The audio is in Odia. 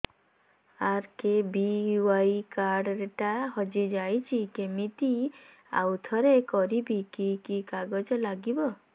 ଆର୍.କେ.ବି.ୱାଇ କାର୍ଡ ଟା ହଜିଯାଇଛି କିମିତି ଆଉଥରେ କରିବି କି କି କାଗଜ ଲାଗିବ